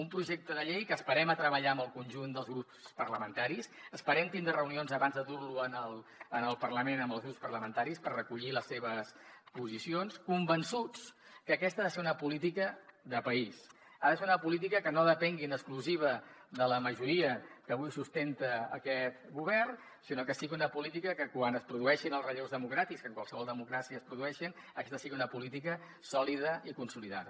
un projecte de llei que esperem treballar amb el conjunt dels grups parlamentaris esperem tindre reunions abans de dur lo al parlament amb els grups parlamentaris per recollir les seves posicions convençuts que aquesta ha de ser una política de país ha de ser una política que no depengui en exclusiva de la majoria que avui sustenta aquest govern sinó que sigui una política que quan es produeixin els relleus democràtics que en qualsevol democràcia es produeixen sigui una política sòlida i consolidada